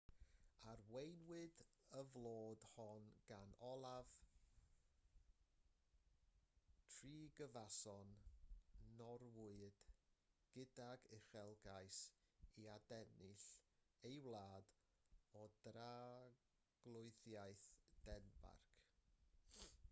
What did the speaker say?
arweiniwyd y fflyd hon gan olaf trygvasson norwyad gydag uchelgais i adennill ei wlad o dra-arglwyddiaeth denmarc